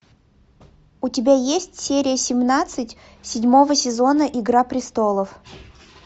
у тебя есть серия семнадцать седьмого сезона игра престолов